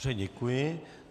Dobře, děkuji.